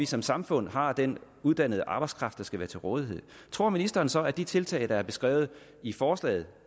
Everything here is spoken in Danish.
som samfund har den uddannede arbejdskraft der skal være til rådighed tror ministeren så at de tiltag der er beskrevet i forslaget